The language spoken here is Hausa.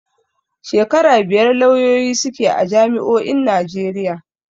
Shekara biyar lauyoyi suke a jami'o'in Najeriya.